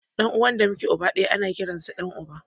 Ɗan uwa da muke uba ɗaya ana kiransa da ɗan uba